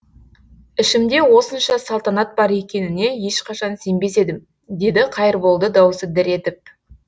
ішімде осынша салтанат бар екеніне ешқашан сенбес едім деді қайырболды даусы дір етіп